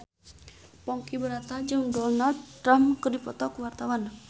Ponky Brata jeung Donald Trump keur dipoto ku wartawan